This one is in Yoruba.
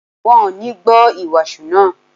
Wọ́n ò ní gbọ́ ìwàásù náà